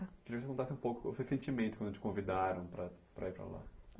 Queria que você contasse um pouco o seu sentimento quando te convidaram para para ir para lá.